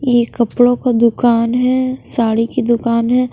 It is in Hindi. ये कपड़ों का दुकान है साड़ी की दुकान है।